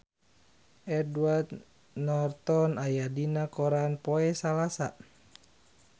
Edward Norton aya dina koran poe Salasa